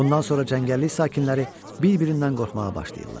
Bundan sonra cəngəllik sakinləri bir-birindən qorxmağa başlayırlar.